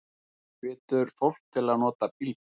Hvetur fólk til að nota bílbelti